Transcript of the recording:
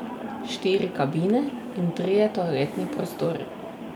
Štiri kabine in trije toaletni prostori.